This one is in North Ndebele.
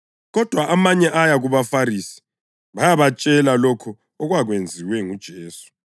Kodwa amanye aya kubaFarisi bayabatshela lokho okwakwenziwe nguJesu.